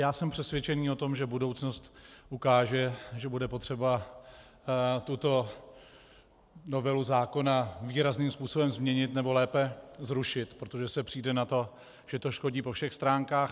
Já jsem přesvědčen o tom, že budoucnost ukáže, že bude potřeba tuto novelu zákona výrazným způsobem změnit, nebo lépe zrušit, protože se přijde na to, že to škodí po všech stránkách.